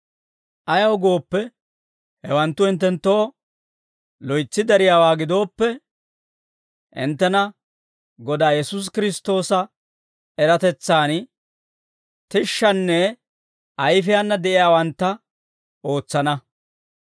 Ayaw gooppe, hawanttu hinttenttoo loytsi dariyaawaa gidooppe, hinttena Godaa Yesuusi Kiristtoosa eratetsan tishshanne ayifiyaana de'iyaawantta ootsana.